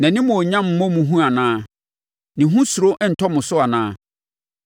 Nʼanimuonyam mmɔ mo hu anaa? Ne ho suro nntɔ mo so anaa?